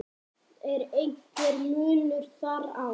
Er einhver munur þar á?